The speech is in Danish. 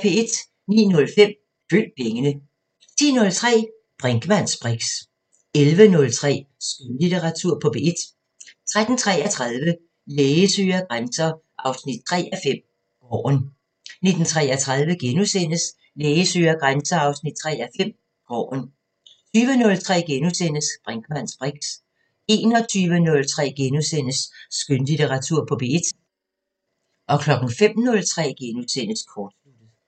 09:05: Følg pengene 10:03: Brinkmanns briks 11:03: Skønlitteratur på P1 13:33: Læge søger grænser 3:5 – Gården 19:33: Læge søger grænser 3:5 – Gården * 20:03: Brinkmanns briks * 21:03: Skønlitteratur på P1 * 05:03: Kortsluttet *